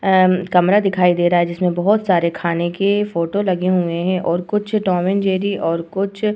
ए-म् कमरा दिखाई दे रहा है जिसमें बोहोत सारे खाने की फोटो लगे हुएं हैं और कुछ टॉम एंड जेरी और कुछ --